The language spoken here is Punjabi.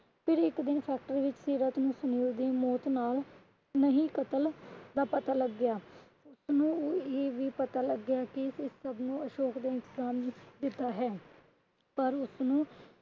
ਫਿਰ ਇੱਕ ਦਿਨ ਫੈਕਟਰੀ ਵਿੱਚ ਸੀਰਤ ਨੂੰ ਸੁਨੀਲ ਦੀ ਮੌਤ ਨਾਲ ਨਹੀਂ ਕੱਤਲ ਦਾ ਪਤਾ ਲੱਗਿਆ ਉਸਨੂੰ ਇਹ ਵੀ ਪਤਾ ਲੱਗਿਆ ਕਿ ਇਸ ਸਭ ਨੂੰ ਅਸ਼ੋਕ ਦੇ ਇੰਤਜ਼ਾਮ ਵਿੱਚ ਕੀਤਾ ਹੈ। ਪਰ ਉਸਨੂੰ